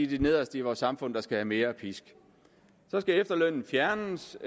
de nederste i vores samfund der skal have mere pisk så skal efterlønnen fjernes